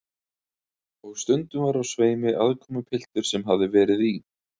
Og stundum var á sveimi aðkomupiltur sem hafði verið í